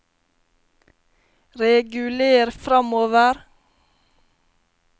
reguler framover